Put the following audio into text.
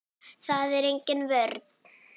Það er engin vörn.